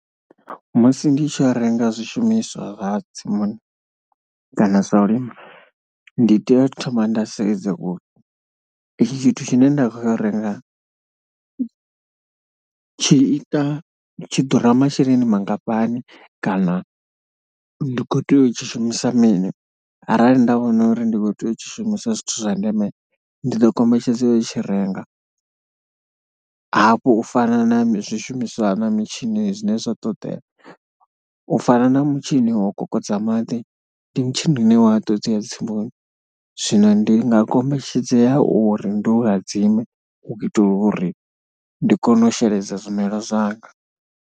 Musi ndi tshi renga zwishumiswa zwa tsimuni kana zwa u lima ndi tea u thoma nda sedza uri itshi tshithu tshine nda khou ya u renga tshi ita, tshi ḓura masheleni mangafhani kana ndi khou tea u tshi shumisa mini arali nda vhona uri ndi khou tea u tshi shumisa zwithu zwa ndeme ndi ḓo kombetshedzea u tshi renga. Hafhu u fana na zwishumiswa na mitshini zwine zwa ṱoḓea, u fana na mutshini wo kokodza maḓi ndi mutshini une wa ṱoḓea tsimuni. Zwino ndi nga kombetshedzea uri ndi u hadzime u itela uri ndi kone u sheledza zwimela zwanga.